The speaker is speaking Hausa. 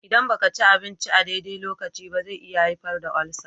Idan ba ka ci abinci a daidai lokacin ba, zai iya haifar da ulcer